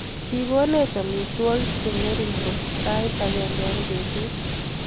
Kikoneech amitwagik cheng'ering'en koot sait agenge eng petuut